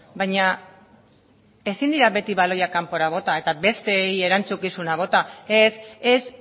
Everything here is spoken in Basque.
baina ezin dira beti baloiak kanpora bota eta besteei erantzukizuna bota ez ez